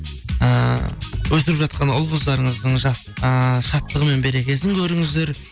ііі өсіп жатқан ұл қыздарыңыздың ыыы шаттығы мен берекесін көріңіздер